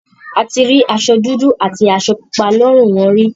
A ti rí aṣọ dúdú àti aṣọ pupa lọ́rùn wọn rí.